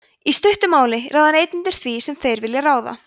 í stuttu máli ráða neytendur því sem þeir vilja ráða